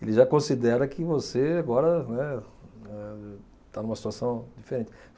Ele já considera que você, agora, né, eh está numa situação diferente.